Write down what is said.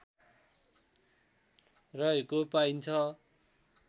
रहेको पाइन्छ